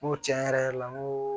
N ko tiɲɛ yɛrɛ yɛrɛ la n ko